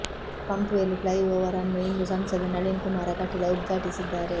pump well flyover ಅನ್ನು ಇಂದು ಸಂಸದ ನಳಿನ್ ಕುಮಾರ ಕಟೀಲ್ ಉದ್ಘಾಟಿಸಿದ್ದಾರೆ